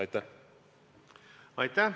Aitäh!